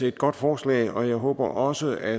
et godt forslag og jeg håber også at